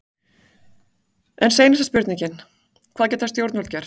En seinasta spurningin, hvað geta stjórnvöld gert?